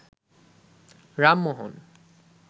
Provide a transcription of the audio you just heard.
Ram Mohan